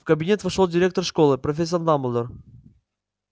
в кабинет вошёл директор школы профессор дамблдор